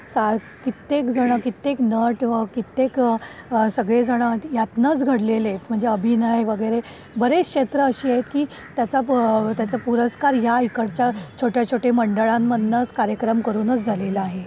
कित्येक जण कित्येक नट कित्येक सगळे जण यातूनच घडलेले आहेत म्हणजे अभिनय वगैरे बरीच क्षेत्र अशी आहेत की त्याचा त्याचा पुरस्कार या इकडच्या छोट्या छोट्या मंडळां मधूनच कार्यक्रम करून झालेला आहे.